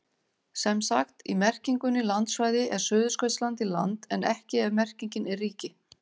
Sem sagt, í merkingunni landsvæði er Suðurskautslandið land en ekki ef merkingin er ríki.